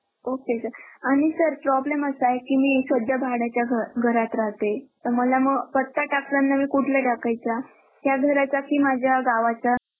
Okay sir आणि sir problem असा आहे की मी सध्या भाड्याच्या घ घरात राहते तर मला मग पत्ता टाकताना मी कुठला टाकायचा या घराचा की माझ्या गावाचा?